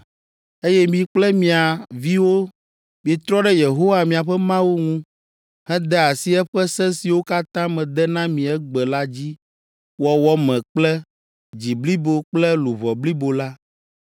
eye mi kple mia viwo mietrɔ ɖe Yehowa miaƒe Mawu ŋu, hede asi eƒe se siwo katã mede na mi egbe la dzi wɔwɔ me kple dzi blibo kple luʋɔ blibo la,